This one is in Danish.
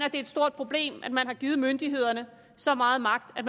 et stort problem at man har givet myndighederne så meget magt at